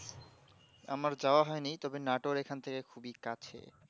আমার যাওয়া হয়নি তবে নাটোর এই খান থেকে খুবই কাছে